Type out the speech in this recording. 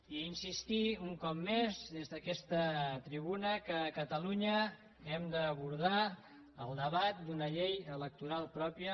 i insistir un cop més des d’aquesta tribuna que a catalunya hem d’abordar el debat d’una llei electoral pròpia